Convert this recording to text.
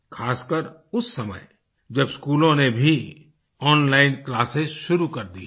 खासकर उस समय जब स्कूलों ने भी ओनलाइन क्लासेस शुरू कर दी हैं